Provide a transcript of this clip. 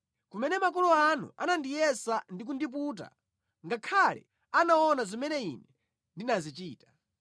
Kumene makolo anu anandiyesa ndi kundiputa, ngakhale anaona zimene Ine ndinazichita.